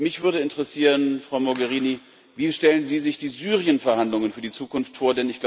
Mich würde interessieren, Frau Mogherini Wie stellen Sie sich die Syrien Verhandlungen für die Zukunft vor?